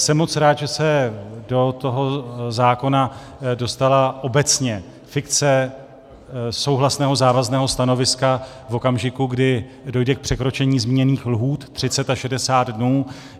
Jsem moc rád, že se do toho zákona dostala obecně fikce souhlasného závazného stanoviska v okamžiku, kdy dojde k překročení zmíněných lhůt 30 a 60 dnů.